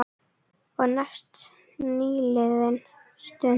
Og því næst nýliðin stund.